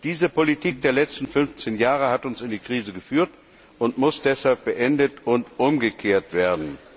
Diese Politik der letzten 15 Jahre hat uns in die Krise geführt und muss deshalb beendet und umgekehrt werden.